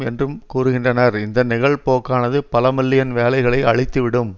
என்றும் கூறுகின்றனர் இந்த நிகழ்போக்கானது பலமில்லியன் வேலைகளைத் அழித்துவிடும்